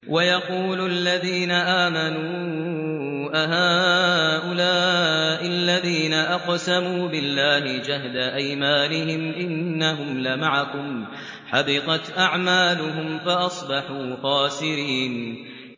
وَيَقُولُ الَّذِينَ آمَنُوا أَهَٰؤُلَاءِ الَّذِينَ أَقْسَمُوا بِاللَّهِ جَهْدَ أَيْمَانِهِمْ ۙ إِنَّهُمْ لَمَعَكُمْ ۚ حَبِطَتْ أَعْمَالُهُمْ فَأَصْبَحُوا خَاسِرِينَ